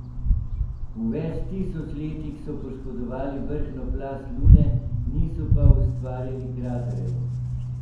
V več tisoč letih so poškodovali vrhnjo plast Lune, niso pa ustvarili kraterjev.